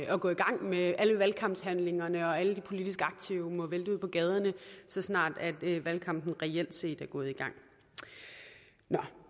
at gå i gang med alle valgkampshandlingerne og alle de politisk aktive må vælte ud på gaderne så snart valgkampen reelt set er gået en gang nå